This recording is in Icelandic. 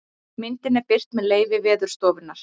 Myndin er birt með leyfi Veðurstofunnar.